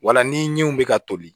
Wala niw bɛ ka toli